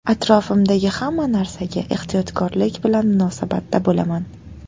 Atrofimdagi hamma narsaga ehtiyotkorlik bilan munosabatda bo‘laman.